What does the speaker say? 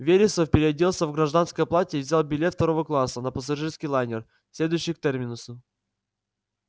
вересов переоделся в гражданское платье и взял билет второго класса на пассажирский лайнер следующий к терминусу